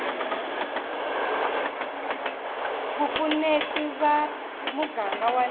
vupfuneti va muganga wa le